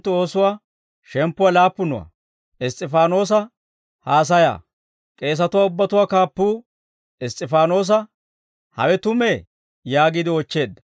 K'eesatuwaa ubbatuwaa kaappuu Iss's'ifaanoosa, «Hawe tumee?» yaagiide oochcheedda.